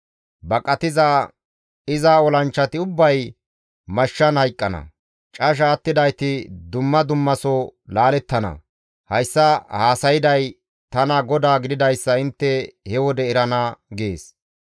Baqatiza iza olanchchati ubbay mashshan hayqqana; casha attidayti dumma dummaso laalettana. Hayssa haasayday tana GODAA gididayssa intte he wode erana› gees.